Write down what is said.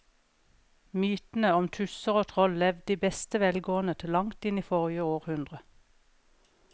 Mytene om tusser og troll levde i beste velgående til langt inn i forrige århundre.